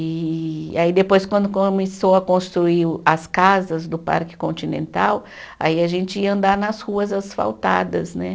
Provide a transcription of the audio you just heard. E aí depois quando começou a construir o, as casas do Parque Continental, aí a gente ia andar nas ruas asfaltadas, né?